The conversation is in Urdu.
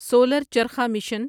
solar charkha mission